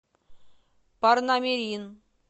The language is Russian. парнамирин